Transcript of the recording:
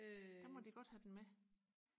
der må de godt have den med